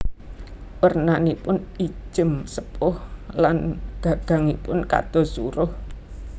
Wernanipun ijem sepuh lan gagangipun kados suruh